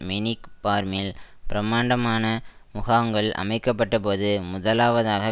manic பார்மில் பிரமாண்டமான முகாங்கள் அமைக்க பட்ட போது முதலாவதாக